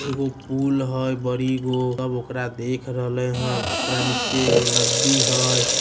एगो पुल हई बड़ी गो। सब ओकरा देख रहले हन। ओकरा नीचे एगो नदी हय।